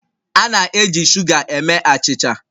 A na-eji shuga eme achịcha